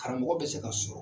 Karamɔgɔ bɛ se ka sɔrɔ